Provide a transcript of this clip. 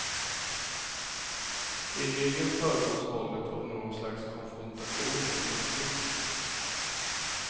I regel föregås våldet av någon slags konfrontation eller konflikt.